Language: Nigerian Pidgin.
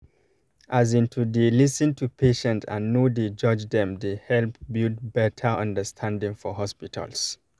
as in to dey lis ten to patient and no dey judge dem dey help build better understanding for hospitals